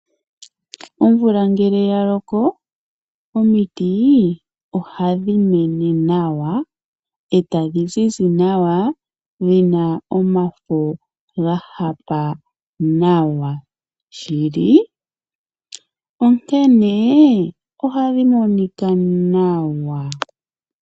Omvula ngele ya loko omiti ohadhi mene nawa etadhi zizi nawa dhi na omafa ga hapa nawa shili onkene ohadhi monika nawa .